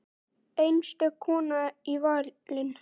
Einstök kona fallin í valinn.